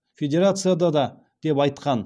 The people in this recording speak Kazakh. федерацияда да деп айтқан